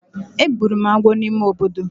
Egburu m agwo n’ime obodo